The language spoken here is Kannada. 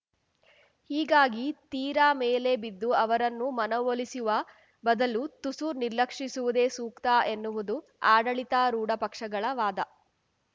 ಹೀಗಾಗಿ ತೀರಾ ಮೇಲೆ ಬಿದ್ದು ಅವರನ್ನು ಮನವೊಲಿಸುವ ಬದಲು ತುಸು ನಿರ್ಲಕ್ಷಿಸುವುದೇ ಸೂಕ್ತ ಎನ್ನುವುದು ಆಡಳಿತಾರೂಢ ಪಕ್ಷಗಳ ವಾದ